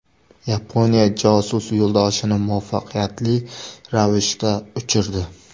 Yaponiya josus yo‘ldoshini muvaffaqiyatli ravishda uchirdi.